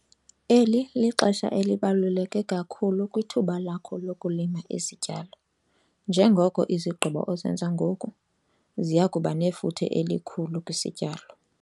Eli lixesha elibaluleke kakhulu kwithuba lakho lokulima izityalo njengoko izigqibo ozenza ngoku ziya kuba nefuthe elikhulu kwisityalo.